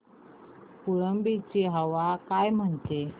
फुलंब्री ची हवा काय म्हणते